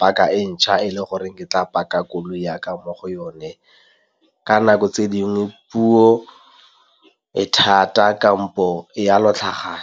paka e ntjha e le goreng ke tla pakang koloi ya ka mo go yone ka nako, tse dingwe puo e thata kampo e a .